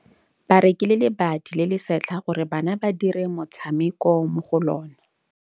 Ba rekile lebati le le setlha gore bana ba dire motshameko mo go lona.